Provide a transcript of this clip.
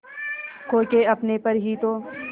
खो के अपने पर ही तो